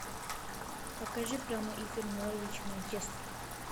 покажи прямой эфир норвич манчестер